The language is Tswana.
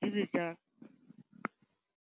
ke dire jang.